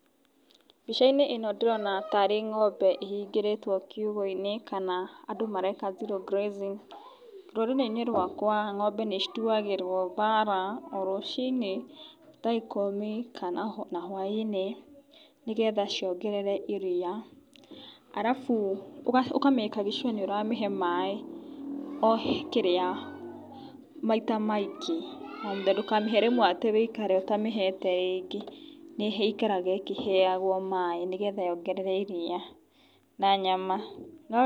Mbicainĩ ĩno ndĩrona tarĩ ngombe ĩhingĩrĩtwo kiugũinĩ kana andũ mareka zero grazing ,rũrĩrĩinĩ rwaka ngombe nĩ cituagĩrwo thara orũcinĩ thaa ikũmi kana na hwainĩ nĩgetha ciongerere iriia arafu ũkamakagi sure nĩ ũramĩhe maaĩ o kĩrĩa maita maingĩ ndũkamĩhe rĩmwe atĩ wĩikare ũtamĩhete rĩngĩ nĩ ĩikaraga ĩkeheagwo maaĩ nĩgetha yongerere iriia na nyama.